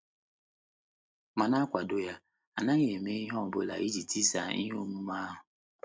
M̀ na - akwado ya, n’adịghị eme ihe ọ bụla iji tisaa ihe omume ahụ? ’